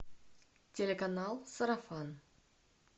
телеканал сарафан